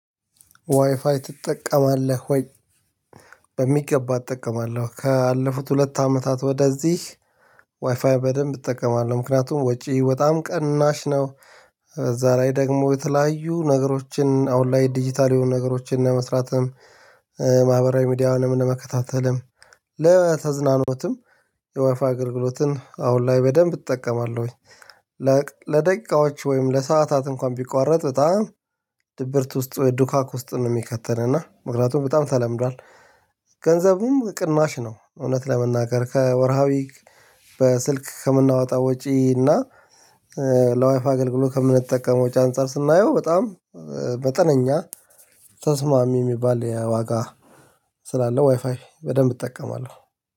ዋይፋይ ትጠቀማለህ ወይ? በሚገባ እጠቀማለሁ። ካለፉት ሁለት አመታት ወደዚህ ዋይፋይ በደንብ እጠቀማለሁ። ምክንያቱም ወጪ በጣም ቅናሽ ነው እዛ ላይ ደግሞ በተለያዩ ነገሮችን አሁን ላይ ዲጂታል የሆኑ ነገሮችን ለመስራትም ማህበራዊ ሚዲያውንም መከታተልም ለተዝናኖትም የወፋ አገልግሎትን አሁን ላይ በደንብ እጠቀማለሁኝ። ለደቂቃዎች ወይም ለሰአታት እንኳን ቢቋረጥ በጣም ድብርት ውስጥ ወይ ዱካክ ውስጥ ነው የሚከተን እና ምክንያቱም በጣም ተለምዷል። ገንዘቡም ቅናሽ ነው እውነት ለመናገር ከወርሃዊ በስልክ ከምናወጣ ወጪ እና ለዋይፋ አገልግሎት ከምንጠቀመው ወጭ አንፃር ስናየው በጣም መጠነኛ ተስማሚ የሚባል የዋጋ ስላለው ዋይፋይ በደንብ እጠቀማለሁ።